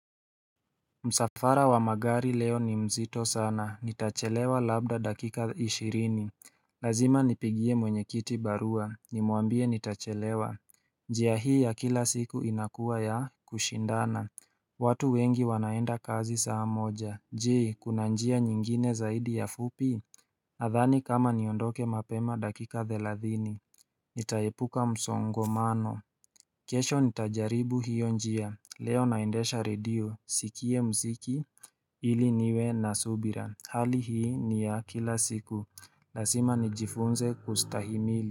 Msafara wa magari leo ni mzito sana, nitachelewa labda dakika ishirini Lazima nipigie mwenye kiti barua, nimuambie nitachelewa njia hii ya kila siku inakuwa ya kushindana watu wengi wanaenda kazi saa moja Je, kuna njia nyingine zaidi ya fupi Nadhani kama niondoke mapema dakika thelathini Nitaepuka msongomano kesho nitajaribu hiyo njia Leo naendesha redio sikie mziki ili niwe na subira hali hii ni ya kila siku lasima nijifunze kustahimili.